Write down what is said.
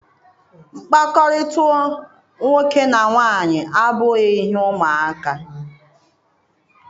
Mkpakọrịta nwoke na nwanyị abụghị ihe ụmụ aka.